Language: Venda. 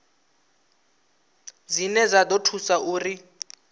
dzine dza ḓo thusa uri